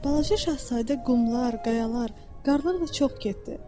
Balaca şahzadə qumlar, qayalar, qarlar ilə çox getdi.